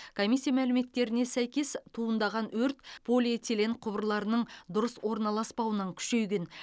комиссия мәліметтеріне сәйкес туындаған өрт полиэтилен құбырларының дұрыс орналаспауынан күшейген